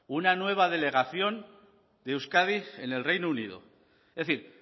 una nueva delegación de euskadi en el reino unido es decir